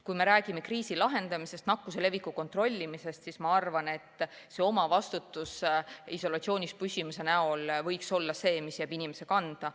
Kui me räägime kriisi lahendamisest, nakkuse leviku kontrollimisest, siis ma arvan, et omavastutus isolatsioonis püsimise näol võiks olla see, mis jääb inimese enda kanda.